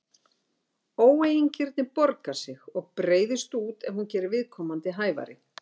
Óeigingirni borgar sig og breiðist út ef hún gerir viðkomandi hæfari.